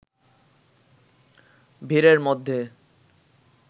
ভিড়ের মধ্যে